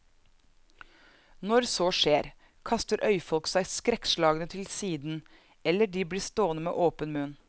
Når så skjer, kaster øyfolk seg skrekkslagne til siden, eller de blir stående med åpen munn.